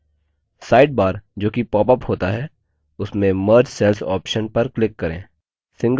sidebar जो कि popsअप होता है उसमें merge cells option पर click करें